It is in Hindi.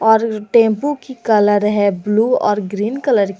और टेंपो की कलर है ब्लू और ग्रीन कलर की।